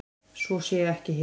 Svo sé ekki hér.